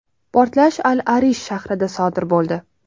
Portlash Al-Arish shahrida sodir bo‘ldi.